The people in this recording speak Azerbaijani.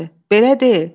Belə deyil.